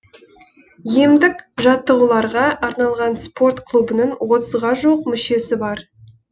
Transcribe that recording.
емдік жаттығуларға арналған спорт клубының отызға жуық мүшесі бар